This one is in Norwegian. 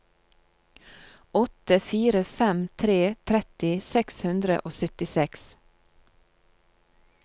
åtte fire fem tre tretti seks hundre og syttiseks